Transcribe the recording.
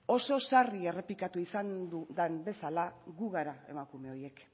oso sarri errepikatu izan den bezala gu gara emakume horiek